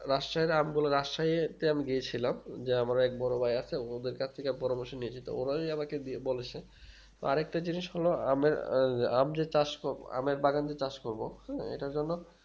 রাশিয়ার আম গুলো রাষ্ট্রে একটি আম দিয়েছিলাম যে আমার এক বড়ো ভাই আছে ওদের কাছে থেকে পরামর্শ নিয়ে ছিল ওরাই আমাকে বলেছে আরেকটা জিনিস হলো আমের এই আম যে চাষ ক আমের বাগান যে চাষ করবো এটার জন্য